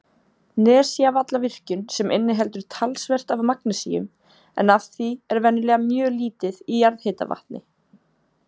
Nesjavallavirkjun sem inniheldur talsvert af magnesíum, en af því er venjulega mjög lítið í jarðhitavatni.